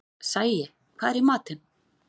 Sæi, hvað er í matinn?